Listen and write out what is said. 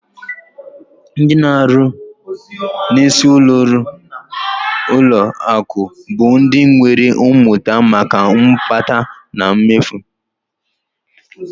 Ndị na-arụ n'isi ụlọọrụ ụlọakụ bụ ndị nwere mmụta maka mkpata na mmefu